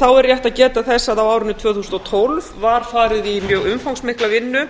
þá er rétt að geta þess að á árinu tvö þúsund og tólf var farið í mjög umfangsmikla vinnu